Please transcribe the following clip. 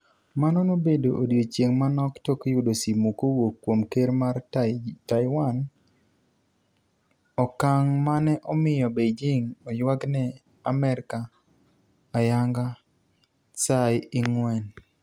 mano nobedo odichienge manok tok yudo simu kowuok kuom ker mar Taiwan. Okang' mane omiyo Beijing ywagne Amerka ayanga Tsai Ing-wen.